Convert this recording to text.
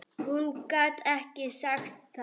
Hún gat ekki sagt það.